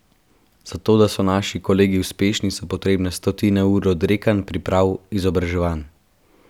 Za to, da so naši kolegi uspešni, so potrebne stotine ur odrekanj, priprav, izobraževanj.